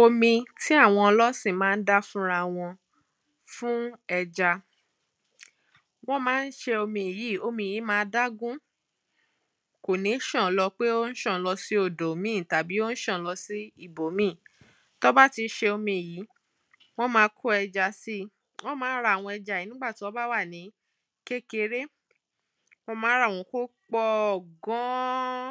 omi tí àwọn ọlọ́sìn máa ń dá fúnra wọn fún ẹja wọ́n máa ń ṣe omi yíì, omi yí máa dágún kò ní ṣàn lọ pé ó ń ṣàn lọ sí odò míì tàbí ó ń ṣàn lọ sí ibò míì tán bá ti ṣe omi yíì wọ́n máa kó ẹja síi wọ́n máa ń ra àwọn ẹja yìí nígbà tí wọ́n bá wà ní kékeré wọ́n màa ń rà wọ́n kó pọ̀ gan an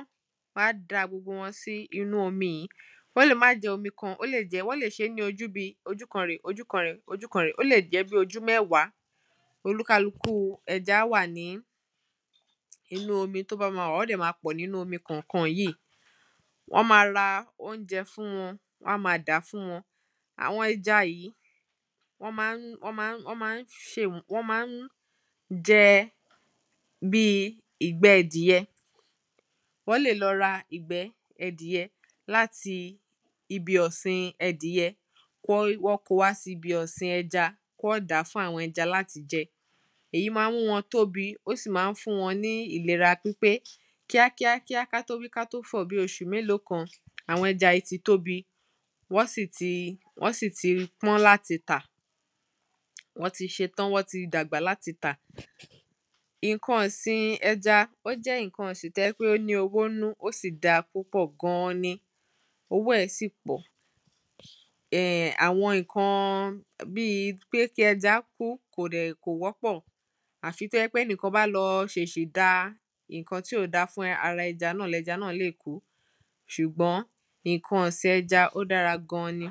wọ́n á da gbogbo wọn sí inú omi yìí wọ́n lè máà jẹ́ omi kan, wọ́n lè ṣé ní ojú bíi ojú kan rèé, ojú kan rèé, ojú kan rèé, ó lè jẹ́ bí ojú mẹ́wàá olúkálukú ẹja á wà nìí inú omi tó bá máa wà wọ́n dẹ̀ ma pọ̀ nínú omi kànkan yíì wọ́n máa ra oúnjẹ fún wọn, wọ́n á máa dàá fún wọn àwọn ẹja yìí wọ́n máa ń jẹ bíi ìgbẹ́ ẹdìyẹ wọ́n lè lọ ra ìgbẹ́ ẹdìyẹ láti ibi ọ̀sìn ẹdìyẹ kí wọ́n ko wá sí ibi ọ̀sìn ẹja kí wọ́n dàá fún àwọn ẹja láti jẹ. èyí máa ń mú wọn tóbi ó sì máa ń fún wọn ní ìlera pípé kíá kíá kíá ká tó wí ká tó fọ̀ bí oṣù mélòó kan, àwọn ẹja yìí tí tóbi wọ́n sì ti pọ́n láti tà wọ́n ti ṣe tán wọ́n ti dàgbà láti tà ǹkan ọ̀sin ẹja ó jẹ́ ǹkan ọ̀sìn tó jẹ́ pé ó ní owó nínú ó sì dáa púpọ̀ gan an ni owó ẹ̀ sì pọ̀ ẹ̀h àwọn ǹkan bíi pé kí ẹja kú kò wọ́pọ̀ àfi tó jẹ́ pé ẹnìkan lọ ṣèsì da ǹkan tí ò dáa fún ara ẹja náà ni ẹja náà lè kú sùgbọ́n ǹkan ọ̀sin ẹja ó dára gan an ni